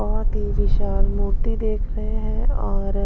बहुत ही विशाल मूर्ति देख रहे हैं और--